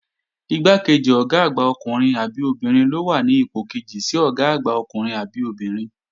Igbákejì Ọ̀gá àgbà ọkùnrin àbí obìnrin ló wà ní ipò kejì sí Ọ̀gá àgbà ọkùnrin àbí obìnrin